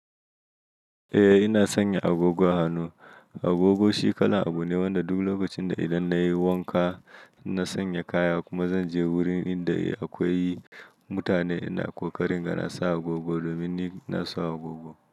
Eh ina sanya agogon hannu, agogo shi kalan abu ne wanda duk lokacin da idan nayi wanka na sanya kaya kuma zanje wurin inda akwai mutane ina ƙoƙarin ga nasa agogo domin ni ina son agogo.